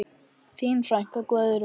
Þín frænka, Guðrún.